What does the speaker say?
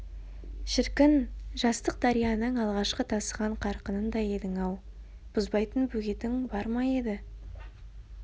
шіркін жастық дарияның алғашқы тасыған қарқынындай едің-ау бұзбайтын бөгетің бар ма еді